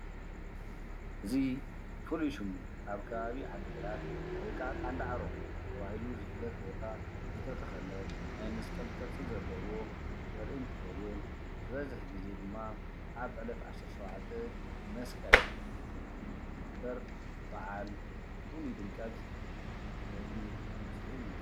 እዚ ፍሉይ ሽሙ ኣብ ከባቢ ዓድግራት ወይ ከዓ ቀን ዳዕሮ ተባሂሉ ዝፍለጥ ቦታ ዝተተኸለ ናይ መስቀል ቅርፂ ዘለዎ ዘርኢ እንትኸዉን ዝበዝሕ ግዘ ድማ ኣብ ዕለት 17 መስቀል ዝኽበር በዓል ፍሉይ ድምቀት ዘርኢ ምስሊ እዩ ።